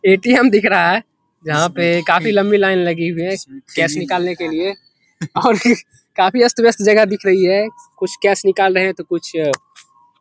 ATM. दिख रहा है जहाँ पे काफी लंबी लाइन लगी हुई है कैश निकालने के लिए और काफी अस्त-व्यस्त जगह दिख रही है कुछ कैश निकाल रहे हैं तो कुछ --